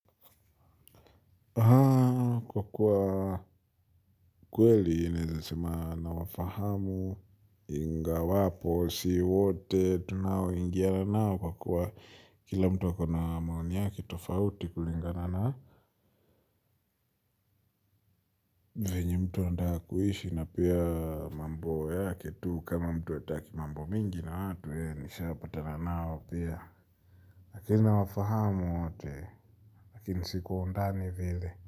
Kwa kuwa, kweli naweza sema nawafahamu ingawapo si wote tunaoingiana nao kwa kuwa kila mtu ako na maoni yake tofauti kulinga na venye mtu anataka kuishi na pia mambo yake tu kama mtu hataki mambo mingi na watu nishapatana nao pia. Lakini nawafahamu wote, lakini si kwa undani vile.